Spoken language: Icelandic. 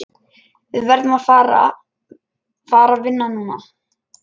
Við verðum að fara vinna núna.